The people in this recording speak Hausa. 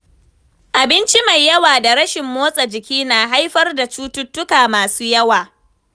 Abinci mai yawa da rashin motsa jiki na haifar da cututtuka masu yawa.